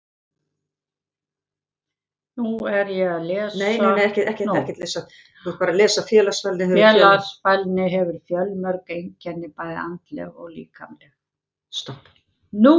Félagsfælni hefur fjölmörg einkenni, bæði andleg og líkamleg.